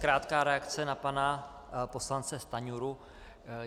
Krátká reakce na pana poslance Stanjuru.